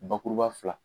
Bakuruba fila